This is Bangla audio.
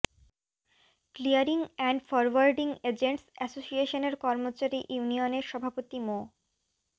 ক্লিয়ারিং অ্যান্ড ফরওয়ার্ডিং এজেন্টস অ্যাসোসিয়েশনের কর্মচারী ইউনিয়নের সভাপতি মো